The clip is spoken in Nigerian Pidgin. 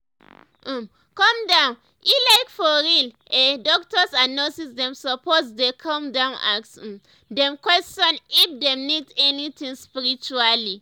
um calm down eh like for real eh doctors and nurses dem suppose dey calm down ask um dem question if dem need anything spiritually